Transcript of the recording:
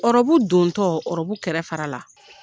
Ɔrɔbu don tɔ ɔrɔbu kɛrɛ fara la.